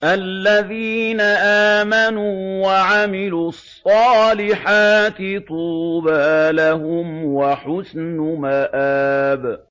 الَّذِينَ آمَنُوا وَعَمِلُوا الصَّالِحَاتِ طُوبَىٰ لَهُمْ وَحُسْنُ مَآبٍ